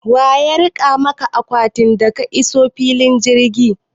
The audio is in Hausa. Waya rike maka akwatin ka da ka iso filin jirgi?